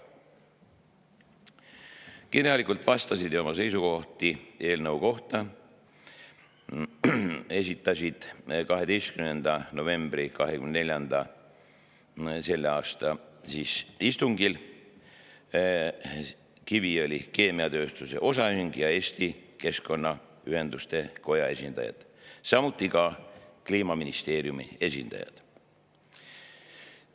Kirjalikult vastasid ja oma seisukohti eelnõu kohta komisjoni selle aasta 12. novembri istungil esitasid Kiviõli Keemiatööstuse OÜ ja Eesti Keskkonnaühenduste Koja esindaja, samuti Kliimaministeeriumi esindajad.